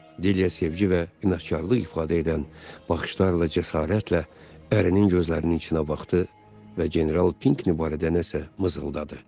Dilyə sevgi və inadkarlıq ifadə edən baxışlarla cəsarətlə ərinin gözlərinin içinə baxdı və General Pinki barədə nəsə mızıldadı.